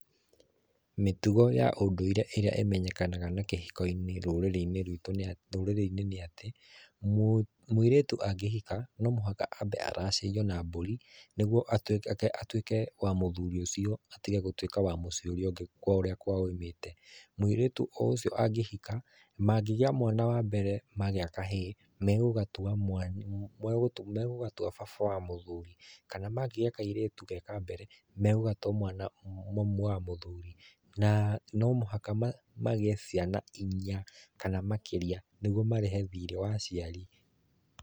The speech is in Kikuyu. Mĩtugo ya ũndũire ĩrĩa ĩmenyekanaga na kĩhiko-inĩ rũrĩrĩ-inĩ rwitũ nĩ atĩ, mũiretu angĩhika no mũhaka ambe aracirio na mbũri nĩgũo atuĩke wa mũthuri ũcio, atige gũtuĩka wa mũciĩ ũrĩa ũngĩ kũrĩa kwao aumĩte. Mũiretu o ũcio angĩhika, mangĩgĩa mwana wa mbere magĩa kahĩĩ, megũgatua baba wa mũthuri, kana mangĩgĩa kairetu ge kambere megũgatua mami wa mũthuri. Na nomũhaka magĩe ciana inya, kana makĩrĩa nĩgũo marĩhe thĩrĩĩ wa aciari.